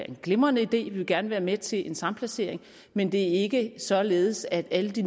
en glimrende idé vi vil gerne være med til en samplacering men det er ikke således at alle de